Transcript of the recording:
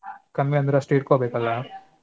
ಕಮ್ಮಿ ಅಂದ್ರೆ ಅಷ್ಟು ಇಟ್ಕೊಬೇಕಲ್ಲ?